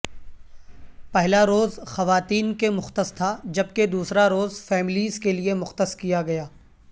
پہلا روز خواتین کے مختص تھا جبکہ دوسرا روز فیملیز کے لیے مختص کیا گیا